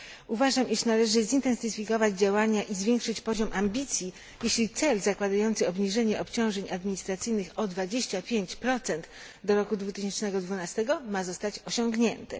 Uważam, iż należy zintensyfikować działania i zwiększyć poziom ambicji, jeśli cel, zakładający obniżenie obciążeń administracyjnych o 25 do roku 2012, ma zostać osiągnięty.